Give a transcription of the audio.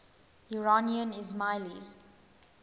iranian ismailis